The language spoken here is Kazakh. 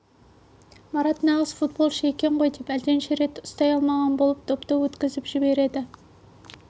марат нағыз футболшы екен ғой деп әлденеше рет ұстай алмаған болып допты өткізіп жіберді